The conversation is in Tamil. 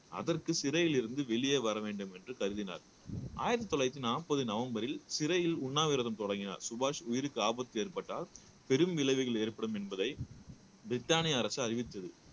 அதற்கு சிறையில் இருந்து வெளியே வர வேண்டும் என்று கருதினார் ஆயிரத்தி தொள்ளாயிரத்தி நாப்பது நவம்பரில் சிறையில் உண்ணாவிரதம் தொடங்கினார் சுபாஷ் உயிருக்கு ஆபத்து ஏற்பட்டால் பெரும் விளைவுகள் ஏற்படும் என்பதை பிரிட்டானிய அரசு அறிவித்தது